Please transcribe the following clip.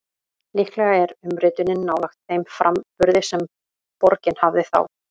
Líklega er umritunin nálægt þeim framburði sem borgin hafði þá.